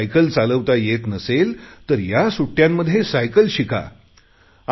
cycle चालवता येत नसेल तर या सुट्टयांमध्ये सायकल चालवता येत नसेल तर या सुट्टयांमध्ये सायकल शिका